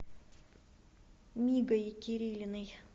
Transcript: мигой кирилиной